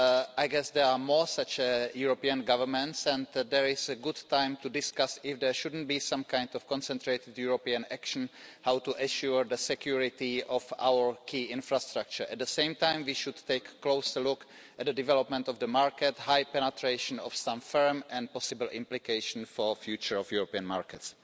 I guess there are more such European governments and it is a good time to discuss whether there shouldn't be some kind of concentrated European action on how to ensure the security of our key infrastructure. At the same time, we should take a closer look at the development of the market, the high penetration of some firms and possible implications for the future of European markets.